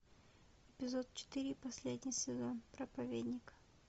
эпизод четыре последний сезон проповедник